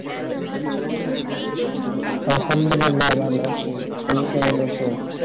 হ্যাঁ শ্যামদুলের দা ভালো আছি তুমি কেমন আছো